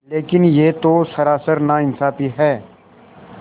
लेकिन यह तो सरासर नाइंसाफ़ी है